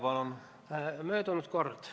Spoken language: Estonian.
Palun!